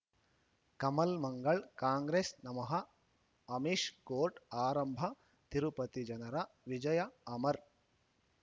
ಕಮಲ್ ಮಂಗಳ್ ಕಾಂಗ್ರೆಸ್ ನಮಃ ಅಮಿಷ್ ಕೋರ್ಟ್ ಆರಂಭ ತಿರುಪತಿ ಜನರ ವಿಜಯ ಅಮರ್